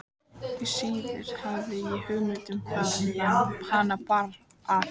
Því síður hafði ég hugmynd um hvaðan hana bar að.